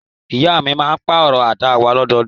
Ìyá mi máa pàrọ̀ àga wa lọ́dọọdún.